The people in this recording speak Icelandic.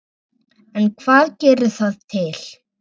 En hvað gerir það til